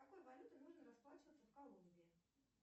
какой валютой нужно расплачиваться в колумбии